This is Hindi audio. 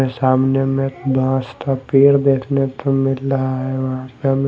सामने में बास का पेड़ देखने को मिल रहा है।